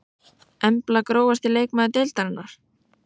Embla Grófasti leikmaður deildarinnar?